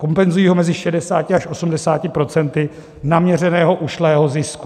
Kompenzují ho mezi 60 až 80 % naměřeného ušlého zisku.